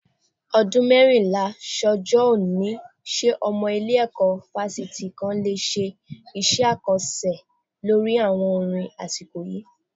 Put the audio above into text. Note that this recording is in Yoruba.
Ọdún mẹ́rìnlá sọ́jọ́ òní, ṣé ọmọ ilé-ẹ̀kọ́ fásitì kan le ṣe iṣẹ́ àkànṣe lórí àwọn orin asiko yìí